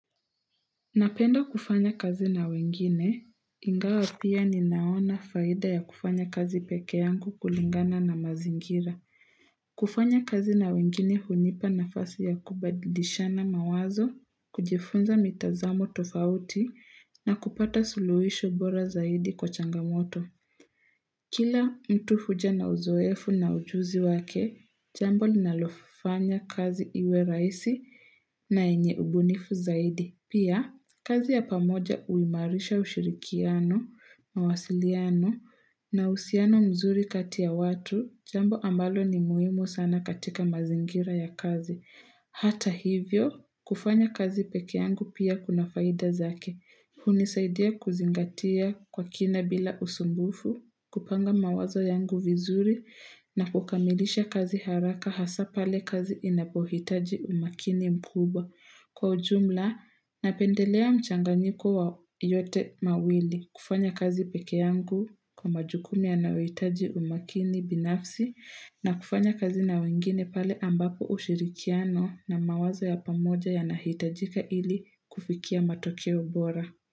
Napenda kufanya kazi na wengine, ingawa pia ninaona faida ya kufanya kazi pekeangu kulingana na mazingira. Kufanya kazi na wengine hunipa nafasi ya kubadilishana mawazo, kujifunza mitazamo tofauti na kupata suluhisho bora zaidi kwa changamoto. Kila mtu huja na uzoefu na ujuzi wake, jambo linalofanya kazi iwe rahisi na yenye ubunifu zaidi. Pia, kazi ya pamoja uimarisha ushirikiano, mawasiliano, na usiano mzuri kati ya watu, jambo ambalo ni muhimu sana katika mazingira ya kazi. Hata hivyo, kufanya kazi pekeangu pia kuna faida zake. Hunisaidia kuzingatia kwa kina bila usumbufu, kupanga mawazo yangu vizuri, na kukamilisha kazi haraka hasa pale kazi inapohitaji umakini mkubwa. Kwa ujumla, napendelea mchanganyiko wa yote mawili kufanya kazi pekeangu kwa majukumu yanayoitaji umakini binafsi na kufanya kazi na wengine pale ambapo ushirikiano na mawazo ya pamoja yanahitajika ili kufikia matokeo bora.